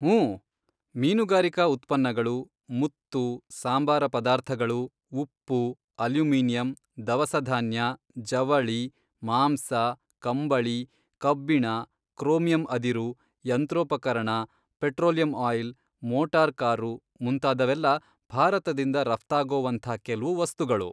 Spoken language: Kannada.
ಊಂ, ಮೀನುಗಾರಿಕಾ ಉತ್ಪನ್ನಗಳು, ಮುತ್ತು, ಸಾಂಬಾರ ಪದಾರ್ಥಗಳು, ಉಪ್ಪು, ಅಲ್ಯುಮಿನಿಯಂ, ದವಸಧಾನ್ಯ, ಜವಳಿ, ಮಾಂಸ, ಕಂಬಳಿ, ಕಬ್ಬಿಣ, ಕ್ರೋಮಿಯಂ ಅದಿರು, ಯಂತ್ರೋಪಕರಣ, ಪೆಟ್ರೋಲಿಯಂ ಆಯಿಲ್, ಮೋಟಾರ್ ಕಾರು, ಮುಂತಾದವೆಲ್ಲಾ ಭಾರತದಿಂದ ರಫ್ತಾಗೊವಂಥಾ ಕೆಲ್ವು ವಸ್ತುಗಳು.